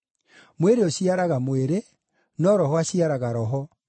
Mwĩrĩ ũciaraga mwĩrĩ, no Roho aciaraga roho.